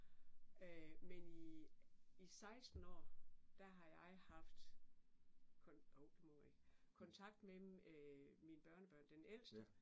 Øh men i i 16 år, der har jeg haft, hov det må jeg ikke, kontakt med mine børnebørn den ældste